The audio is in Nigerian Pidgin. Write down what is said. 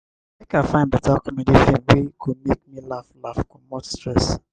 make i find beta comedy film wey go make me laugh laugh comot stress.